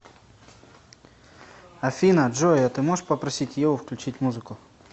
афина джой а ты можешь попросить еву включить музыку